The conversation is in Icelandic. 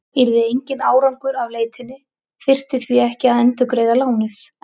Yrði enginn árangur af leitinni þurfti því ekki að endurgreiða lánið.